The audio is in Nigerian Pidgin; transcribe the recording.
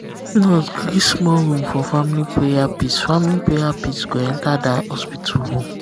if nurse gree small room for family prayer peace family prayer peace go enter that hospital room.